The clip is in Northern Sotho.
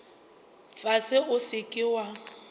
fase o se ke wa